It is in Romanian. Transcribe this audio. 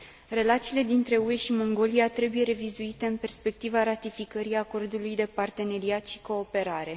Relațiile dintre UE și Mongolia trebuie revizuite în perspectiva ratificării Acordului de parteneriat și cooperare.